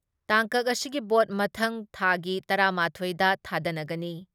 ꯇꯥꯡꯀꯛ ꯑꯁꯤꯒꯤ ꯚꯣꯠ ꯃꯊꯪ ꯊꯥꯒꯤ ꯇꯔꯥ ꯃꯥꯊꯣꯏ ꯗ ꯊꯥꯗꯅꯒꯅꯤ ꯫